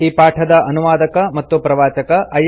ಈ ಪಾಠದ ಅನುವಾದಕ ಮತ್ತು ಪ್ರವಾಚಕ ಐ